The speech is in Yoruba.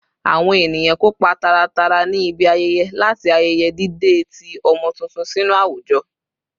Awon eniyan kopa taratara ni ibi ayeye lati ayeye dide ti omo tuntun sinu awujo